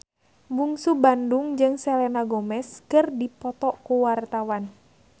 Bungsu Bandung jeung Selena Gomez keur dipoto ku wartawan